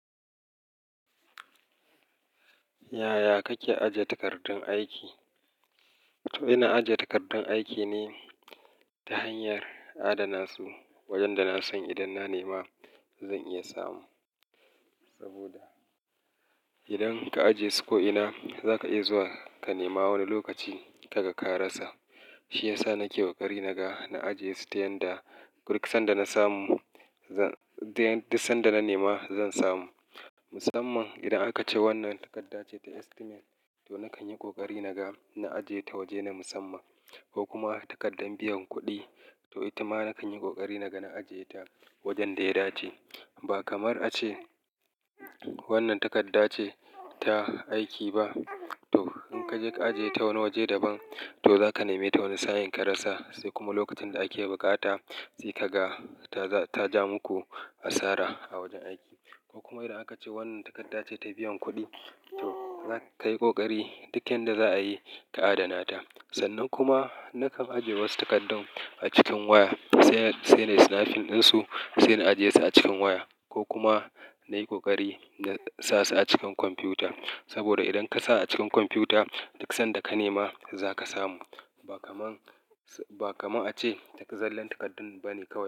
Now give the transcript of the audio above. Yaya kake ajiye takardun aiki? To, ina ajiye takardun aiki ne, ta hanyar adana su, wajen da na san idan na nema zan iya samu. Saboda, idan ka ajiye su ko'ina, za ka iya zuwa ka nema wani lokaci, kaga ka rasa. Shi ya sa na ke ƙoƙari naga na ajiye su ta yanda, duk sanda na nema zan samu. Musamman idan aka ce wannan takarda ce ta estimate, to na kan yi ƙoƙari naga na ajiye ta waje na musamman. Ko kuma takardar biyan kuɗi, to ita ma na kan yi ƙoƙari naga na ajiye ta wajen da ya dace. Ba kamar a ce, wannan takarda ce ta aiki ba. To, in ka je ka ajiye ta wani waje daban, to za ka nema ta wani sa'in ka rasa. Sai kuma lokacin da ake buƙata, sai ka ga ta ja muku asara a wajen aiki. Ko kuma idan aka ce wannan takarda ce ta biyan kuɗi, to za ka yi ƙoƙari duk yanda za a yi ka adana ta. Sannan kuma na kan ajiye wasu takardun a cikin waya, sai nayi snafin ɗinsu, sai na ajiye su a cikin waya. Ko kuma, na yi ƙoƙari na sa su a cikin kwamfuta. Saboda idan ka sa a cikin kwamfuta, duk sanda ka nema za ka samu. Ba kamar a ce, duka zallan takardun bane kawai.